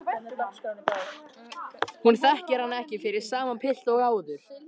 Hún þekkir hann ekki fyrir sama pilt og áður.